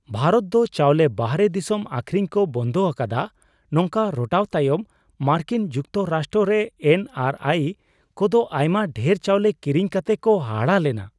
ᱵᱷᱟᱨᱚᱛ ᱫᱚ ᱪᱟᱣᱞᱮ ᱵᱟᱦᱨᱮ ᱫᱤᱥᱚᱢ ᱟᱠᱷᱨᱤᱧ ᱠᱚ ᱵᱚᱱᱫᱷ ᱟᱠᱟᱫᱟ ᱱᱚᱝᱠᱟ ᱨᱚᱴᱟᱣ ᱛᱟᱭᱚᱢ ᱢᱟᱨᱠᱤᱱ ᱡᱩᱠᱛᱚ ᱨᱟᱥᱴᱨᱚ ᱨᱮ ᱮᱱ ᱟᱨ ᱟᱭᱼ ᱠᱚᱫᱚ ᱟᱭᱢᱟ ᱰᱷᱮᱨ ᱪᱟᱣᱞᱮ ᱠᱤᱨᱤᱧ ᱠᱟᱛᱮ ᱠᱚ ᱦᱟᱦᱟᱲᱟᱜ ᱞᱮᱱᱟ ᱾